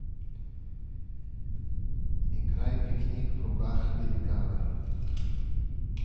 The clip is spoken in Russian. играй пикник в руках великана